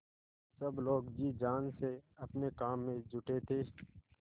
सब लोग जी जान से अपने काम में जुटे थे